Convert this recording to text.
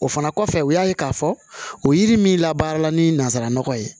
O fana kɔfɛ u y'a ye k'a fɔ o yiri min labaara ni nanzara nɔgɔ ye